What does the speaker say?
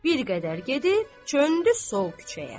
Bir qədər gedib, çöndü sol küçəyə.